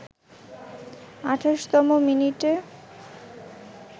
২৮তম মিনিটে